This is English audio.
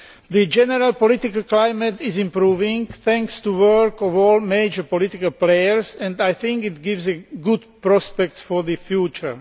The general political climate is improving thanks to the work of all major political players and I think it gives good prospects for the future.